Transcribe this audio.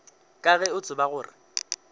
ka ge o tseba gore